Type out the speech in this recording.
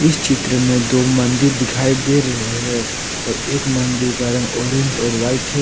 इस चित्र में दो मंदिर दिखाई दे रहे हैं और एक मंदिर का रंग ऑरेंज और व्हाइट है।